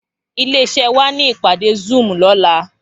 Ilé iṣè wá ni ipàdé zùúm lòlá